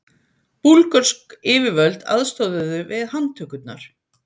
Búlgörsk yfirvöld aðstoðuðu við handtökurnar